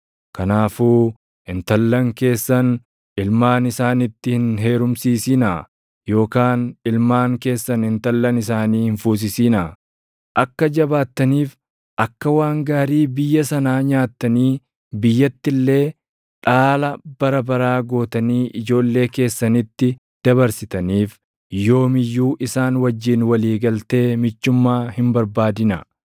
Kanaafuu intallan keessan ilmaan isaanitti hin heerumsiisinaa yookaan ilmaan keessan intallan isaanii hin fuusisinaa. Akka jabaattaniif, akka waan gaarii biyya sanaa nyaattanii biyyatti illee dhaala bara baraa gootanii ijoollee keessanitti dabarsitaniif yoom iyyuu isaan wajjin walii galtee michummaa hin barbaadinaa.’